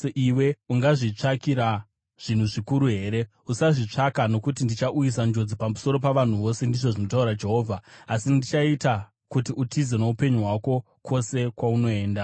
Iwe ungazvitsvakira zvinhu zvikuru here? Usazvitsvaka. Nokuti ndichauyisa njodzi pamusoro pavanhu vose, ndizvo zvinotaura Jehovha, asi ndichaita kuti utize noupenyu hwako kwose kwaunoenda.’ ”